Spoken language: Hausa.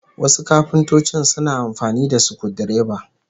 Wasu kafintocin suna amfani da sukudireba